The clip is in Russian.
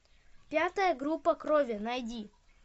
пятая группа крови найди